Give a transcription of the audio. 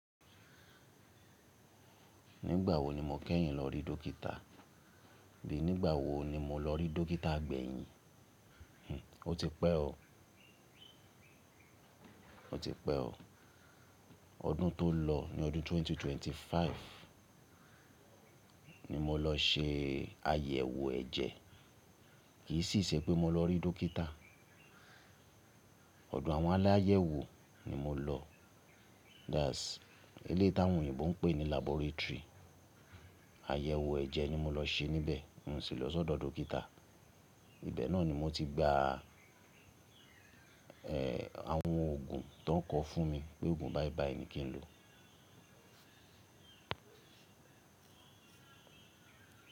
Nígbà wo ni mo kẹ́yìn lọ rí dókítà? Abíi nígbà wo ni mo lọ rí dókítà gbẹ̀yìn? Hhn, ó ti pẹ́ o, ó ti pẹ́ o. Ọdún tó lọ ní ọdún 2025 ni mo lọ se àyẹ̀wò ẹ̀jẹ̀. Kì í sì ṣe pé mo lọ rí dókítà. Ọ̀dọ̀ àwọn aláyẹ̀wò ni mo lọ. That's eléyi táwọn oyinbo ń pè ní laboratory. Àyẹ̀wò ẹ̀jẹ̀ ni mo lọ se níbẹ̀, oun sì lọ sọ́dọ̀ dókítà. Ibẹ̀ náà ni mo ti gba, ẹ́, àwọn òògun tó ń kọ fún mi pé òògun báí báí ni kí n lo.